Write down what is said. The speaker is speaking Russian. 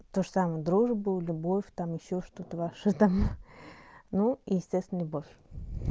тоже самое дружбу любовь там ещё что-то ваши там ну естественно любовь